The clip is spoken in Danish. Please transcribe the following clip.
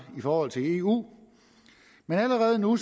i forhold til eu men allerede nu